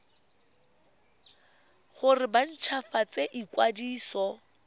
gore ba nt hwafatse ikwadiso